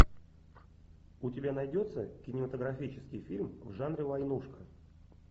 у тебя найдется кинематографический фильм в жанре войнушка